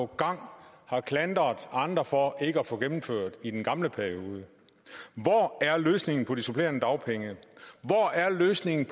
gang har klandret andre for ikke at få gennemført i den gamle periode af hvor er løsningen på de supplerende dagpenge hvor er løsningen